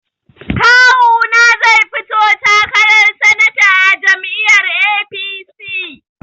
Kawuna zai fito takarar sanata a jam'iyyar APC.